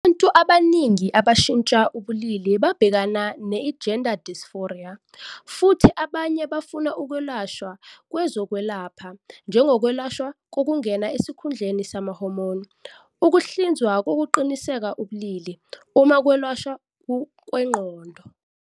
Abantu abaningi abashintsha ubulili babhekana ne-I-gender dysphoria, futhi abanye bafuna ukwelashwa kwezokwelapha njengokwelashwa kokungena esikhundleni sama-hormone, Ukuhlinzwa kokuqinisekisa ubulili, noma ukwelashwa kwengqondo.